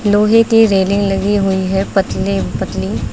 लोहे की रेलिंग लगी हुई है पतले पतली।